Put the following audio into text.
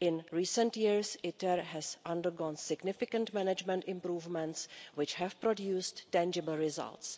In recent years ITER has undergone significant management improvements, which have produced tangible results.